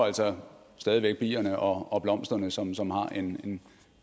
altså stadig væk bierne og og blomsterne som som har en